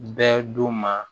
Bɛɛ don ma